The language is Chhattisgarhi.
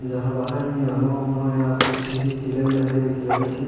जहाँ बाहर में आमा उमा या कुछ केला वेला हरे अइसे लागत हे।